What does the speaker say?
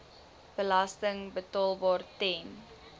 belasting betaalbaar ten